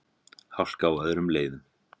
Hálka á öðrum leiðum